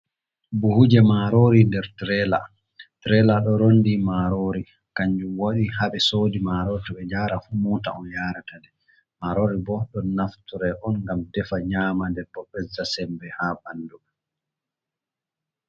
Buhuje marori nder tirela, tirela ɗo ronndi marori kanjum waɗi haɓe sooɗi marori toɓe jaran fu mota on yaratandi, marori bo ɗo naftore on ngam defa nyama nden bo ɓesda semmbe ha ɓandu.